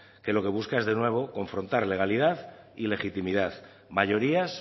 que lo que busca es de nueva confrontar legalidad y legitimidad mayorías